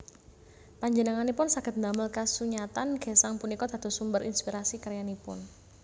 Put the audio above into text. Panjenenganipun saged ndamel kasunyatan gesang punika dados sumber inspirasi karyanipun